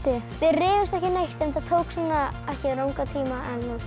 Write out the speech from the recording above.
rifumst ekki neitt enda tók ekki langan tíma